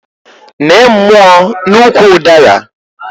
Nee mmụọ n'ukwu ụdara!